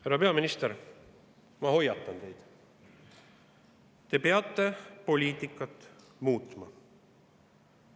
Härra peaminister, ma hoiatan teid: te peate poliitikat muutma.